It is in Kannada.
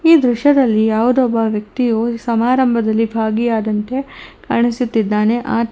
ಈ ದೃಶ್ಯದಲ್ಲಿ ಯಾವುದೋ ಒಬ್ಬ ವ್ಯಕ್ತಿಯು ಸಮಾರಂಭದಲ್ಲಿ ಭಾಗಿಯಾದಂತೆ ಕಾಣಿಸುತ್ತಿದ್ದಾನೆ ಅತ್--